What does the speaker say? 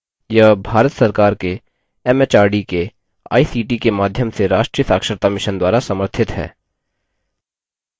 यह भारत सरकार के एमएचआरडी के आईसीटी के माध्यम से राष्ट्रीय साक्षरता mission द्वारा समर्थित है